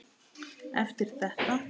Eftir þetta.